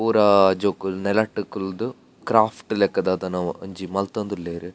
ಪೂರ ಜೋಕುಲು ನೆಲಟ್ ಕುಲ್ಲ್ದು ಕ್ರಾಫ್ಟ್ ಲಕ ದಾದನ ಒಂಜಿ ಮಲ್ತೊಂದುಲ್ಲೆರ್.